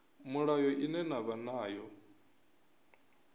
mulayo ine na vha nayo